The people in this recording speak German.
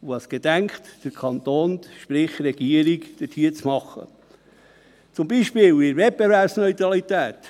Und was gedenkt der Kanton, sprich die Regierung, dort zu tun, beispielsweise in der Wettbewerbsneutralität?